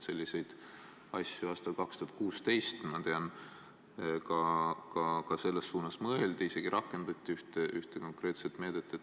Selliseid asju aastal 2016, ma tean, ka mõeldi, isegi rakendati ühte konkreetset meedet.